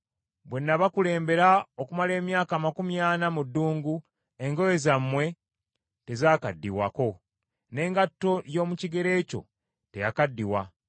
Bwe nabakulembera okumala emyaka amakumi ana mu ddungu engoye zammwe tezaakaddiwako, n’engatto y’omu kigere kyo teyakaddiwa.